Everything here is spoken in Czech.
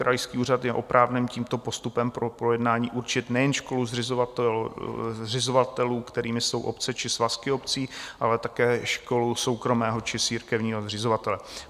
Krajský úřad je oprávněn tímto postupem pro projednání určit nejen školu zřizovatelů, kterými jsou obce či svazky obcí, ale také školu soukromého či církevního zřizovatele.